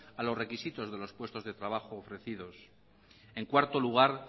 a los requisitos de los puestos de trabajos ofrecidos en cuarto lugar